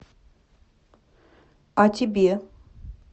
а тебе